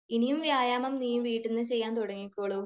ഇനിയും വ്യായാമം നീ വീട്ടിൽന്നു ചെയ്യാൻ തുടങ്ങിക്കോളൂ